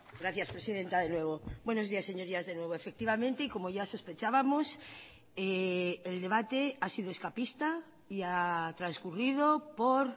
gracias presidenta de nuevo buenos días señorías de nuevo efectivamente y como ya sospechábamos el debate ha sido escapista y ha transcurrido por